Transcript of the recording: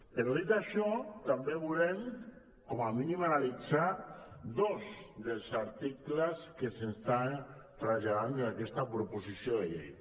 però dit això també volem com a mínim analitzar dos dels articles que s’estan traslladant des d’aquesta proposició de llei